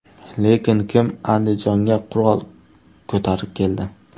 Lekin kim Andijonga qurol ko‘tarib keldi?